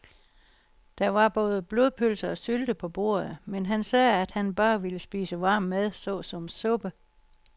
Der var både blodpølse og sylte på bordet, men han sagde, at han bare ville spise varm mad såsom suppe.